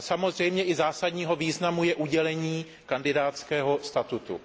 A samozřejmě má zásadní význam i udělení kandidátského statusu.